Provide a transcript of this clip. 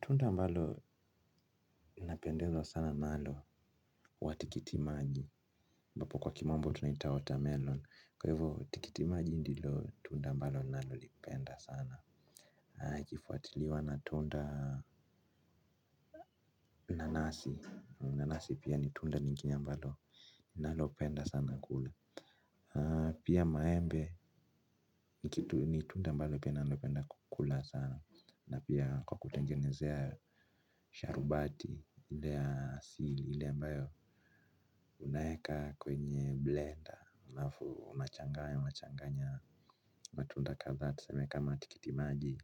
Tunda ambalo inapendeza sana nalo huwa tikitimaji ambapo kwa kimambo tunaita water melon kwa hivyo tikitimaji ndilo tunda ambalo nalipenda sana ikifuatiliwa na tunda nanasi, nanasi pia ni tunda nyingine ambalo nalipenda sana kula. Pia maembe ni tunda ambalo pia nalo penda kukula sana na pia kwa kutengenezea sharubati ile asili ile ambayo unaeka kwenye blender na alafu unachangaya changanya matunda kadhaa tuseme kama tikiti maji